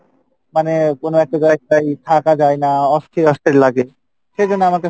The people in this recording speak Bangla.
মানে কোনো একটা জায়গায় থাকা যায়না অস্থির অস্থির লাগে সেজন্য আমার কাসে